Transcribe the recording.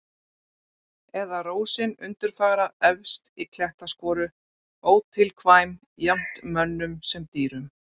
Eða rósin undurfagra efst í klettaskoru, ótilkvæm jafnt mönnum sem dýrum.